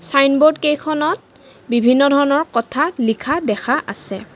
Signboard কেইখনত বিভিন্ন ধৰণৰ কথা লিখা দেখা আছে।